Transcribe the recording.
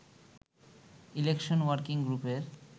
election working গ্রুপের